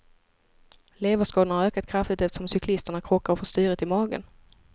Leverskadorna har ökat kraftigt eftersom cyklisterna krockar och får styret i magen.